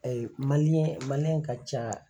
Ayi ka ca